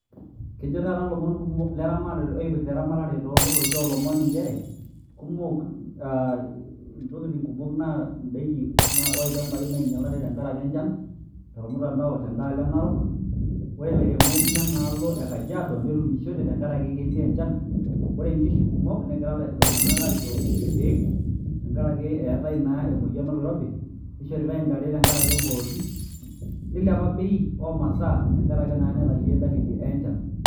Kejo taata ilomon kumok leramatare loipirta eramatare too ngorroki oolomon nchere, kumok aa Intokitin kumok endaiki aa ol'ilnchampai oinyialate tengaraki enchan tolmutandao tedaalo enarok ore ilairemok lenaalo lekajiado netuunishote tengaraki kelio enchan ore inkishu negira iltung'anak aisho inkishu irkiek, tengaraki eatae naa emoyian oloirobi, neishoritae intare tenkaraki eng'orotik neilepa ebei oo masaa tengaraki naa neteliye edalili enchan.